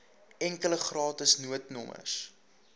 enkele gratis noodnommer